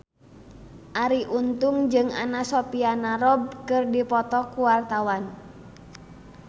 Arie Untung jeung Anna Sophia Robb keur dipoto ku wartawan